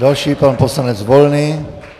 Další, pan poslanec Volný.